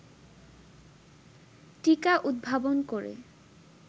টীকা উদ্ভাবন করে